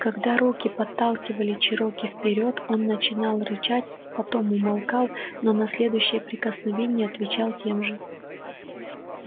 когда руки подталкивали чероки вперёд он начинал рычать потом умолкал но на следующее прикосновение отвечал тем же